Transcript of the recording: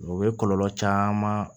O ye kɔlɔlɔ caman